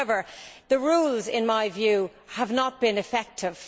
However, the rules in my view have not been effective.